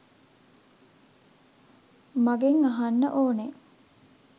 මගෙන් අහන්න ඕනෙ.